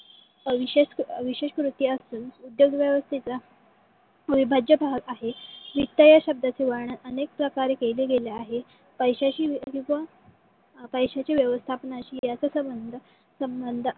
अविशेस विशेस कृती असून उद्योग व्यवस्थेचा अविभाज्य भाग आहे . वित्त या शब्दाचे वर्णन अनेक प्रकारे केले गेले आहे. पैशयची विवा पैशयाशी व्यवस्थापणाशी अस संबंध संबंध